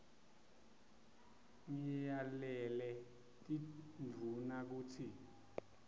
ngiyalele tindvuna kutsi